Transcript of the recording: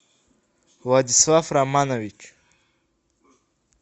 владислав романович